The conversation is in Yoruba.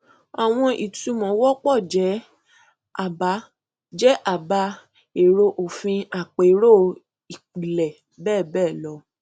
àwọn ìtumọ wọpọ jẹ àbá jẹ àbá èrò òfin àpérò ìpìlẹ bẹẹ bẹẹ lọ